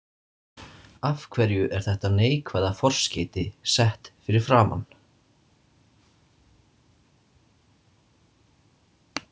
Af hverju er þetta neikvæða forskeyti sett fyrir framan?